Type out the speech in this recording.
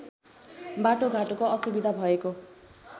बाटोघाटोको असुविधा भएको